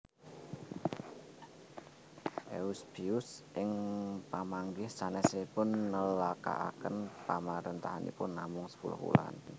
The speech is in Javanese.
Eusebius ing pamanggih sanèsipun nélakaken pamaréntahanipun namung sepuluh wulan